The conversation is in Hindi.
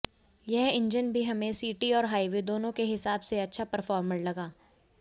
यह इंजन भी हमें सिटी और हाइवे दोनों के हिसाब से अच्छा परफॉर्मर लगा